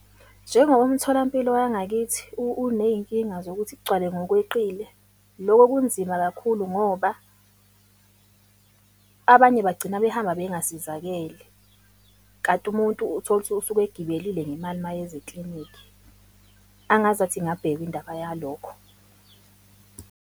Njengoba umtholampilo wangakithi uney'nkinga zokuthi kugcwale ngokweqile, loko kunzima kakhulu ngoba abanye bagcina behamba bengasizakele. Kanti umuntu uthole ukuthi usuke egibelile ngemali uma eza eklinikhi. Angazathi ingabhekwa indaba yalokho.